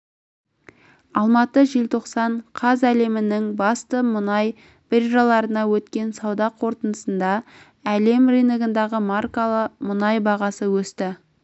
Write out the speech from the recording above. алматы желтоқсан қаз әлемнің басты мұнай биржаларында өткен сауда қортындысында әлем рыногындағы маркалы мұнай бағасы өсті